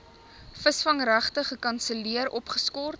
visvangregte gekanselleer opgeskort